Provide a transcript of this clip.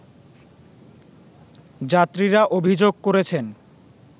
যাত্রীরা অভিযোগ করেছেন